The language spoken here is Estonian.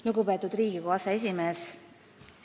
Lugupeetud Riigikogu aseesimees!